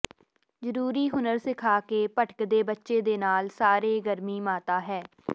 ਜ਼ਰੂਰੀ ਹੁਨਰ ਸਿਖਾ ਕੇ ਭਟਕਦੇ ਬੱਚੇ ਦੇ ਨਾਲ ਸਾਰੇ ਗਰਮੀ ਮਾਤਾ ਹੈ